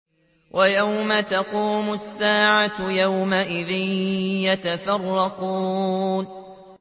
وَيَوْمَ تَقُومُ السَّاعَةُ يَوْمَئِذٍ يَتَفَرَّقُونَ